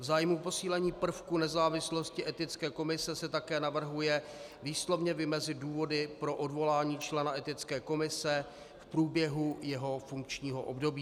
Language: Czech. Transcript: V zájmu posílení prvku nezávislosti Etické komise se také navrhuje výslovně vymezit důvody pro odvolání člena Etické komise v průběhu jeho funkčního období.